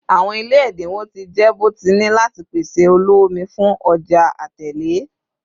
Awọn ile ẹdinwo ti jẹ bọtini lati pese oloomi fun ọja Atẹle